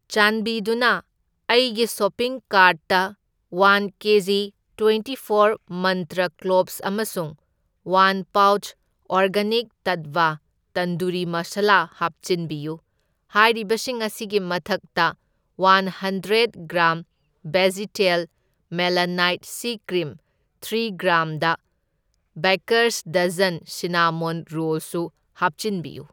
ꯆꯥꯟꯕꯤꯗꯨꯅ ꯑꯩꯒꯤ ꯁꯣꯄꯤꯡ ꯀꯥꯔꯠꯇ ꯋꯥꯟ ꯀꯦꯖꯤ ꯇ꯭ꯋꯦꯟꯇꯤ ꯐꯣꯔ ꯃꯟꯇ꯭ꯔ ꯀ꯭ꯂꯣꯕꯁ ꯑꯃꯁꯨꯡ ꯋꯥꯟ ꯄꯥꯎꯆ ꯑꯣꯔꯒꯥꯅꯤꯛ ꯇꯠꯋꯥ ꯇꯟꯗꯨꯔꯤ ꯃꯁꯥꯂꯥ ꯍꯥꯞꯆꯤꯟꯕꯤꯌꯨ꯫ ꯍꯥꯏꯔꯤꯕꯁꯤꯡ ꯑꯁꯤꯒꯤ ꯃꯊꯛꯇ, ꯋꯥꯟ ꯍꯟꯗ꯭ꯔꯦꯗ ꯒ꯭ꯔꯥꯝ ꯕꯦꯖꯤꯇꯦꯜ ꯃꯦꯂꯥꯅꯥꯏꯠ ꯁꯤ cream, three gram the baker's dozen cinnamon rolls ꯁꯨ ꯍꯥꯞꯆꯤꯟꯕꯤꯌꯨ꯫